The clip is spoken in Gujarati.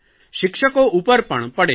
શિક્ષકો ઉપર પણ પડે છે